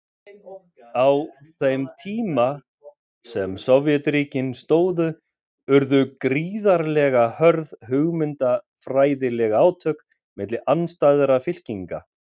Á þeim tíma sem Sovétríkin stóðu urðu gríðarlega hörð hugmyndafræðileg átök milli andstæðra fylkinga.